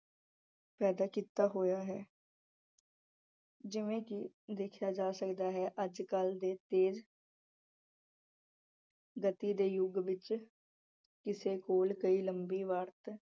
ਪੈਦਾਂ ਕੀਤਾ ਹੋਇਆ ਹੈ ਜਿਵੇਂ ਕਿ ਦੇਖਿਆ ਜਾ ਸਕਦਾ ਅੱਜਕਲ ਦੇ ਗਤੀ ਦੇ ਯੁੱਗ ਵਿੱਚ ਕਿਸੇ ਕੋਲ ਪਈ ਲੰਬੀ ਵਰਤ